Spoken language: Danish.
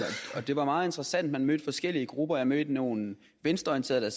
og det var meget interessant for man mødte forskellige grupper jeg mødte nogle venstreorienterede